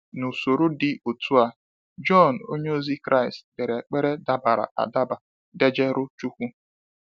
N'usoro dị otu a, John onye ozi Kraịst dere ekpere dabara adaba dejerụ chukwu.